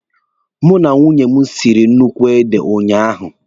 Mụ na nwunye m siri nnukwu ede unyaahụ.